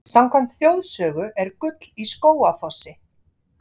Samkvæmt þjóðsögu er gull í Skógafossi.